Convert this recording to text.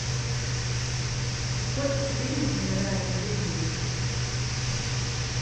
сколько в среднем умирает людей в день